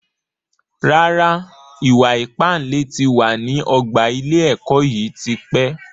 Rárá, ìwà ìpánle tí wá ní ọgbà ilé ẹ̀kọ́ yìí tí pẹ́